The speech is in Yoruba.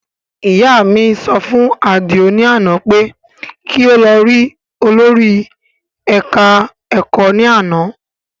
Ìyá mi sọ fún Àdìó ní àná pé kí ó lọ rí olórí ẹ̀ka ẹ̀kọ́ ní àná